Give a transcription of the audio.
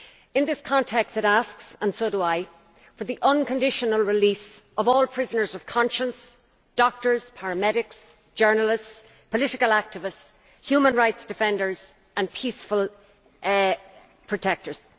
In this context it asks, and so do I, for the unconditional release of all prisoners of conscience doctors, paramedics, journalists, political activists, human rights defenders and peaceful protestors.